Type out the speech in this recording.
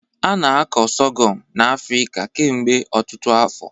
A na-akọ Sorghum n'Afrịka kemgbe ọtụtụ afọ.